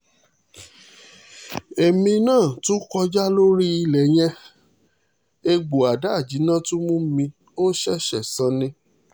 èmi náà tún kọjá lórí ilẹ̀ yẹn ẹ̀gbọ́ adáàjínnà tún mú mi ò ṣẹ̀ṣẹ̀ san ni